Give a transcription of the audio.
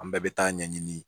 An bɛɛ bɛ taa ɲɛɲini